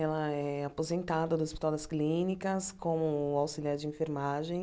Ela é aposentada do Hospital das Clínicas como auxiliar de enfermagem.